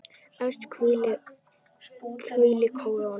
Efst hvílir kóróna.